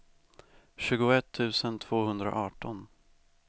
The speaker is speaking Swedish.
tjugoett tusen tvåhundraarton